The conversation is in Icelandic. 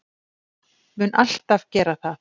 Mun alltaf gera það.